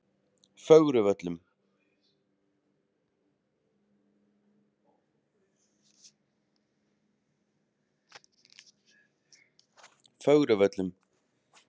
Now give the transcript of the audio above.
Fögruvöllum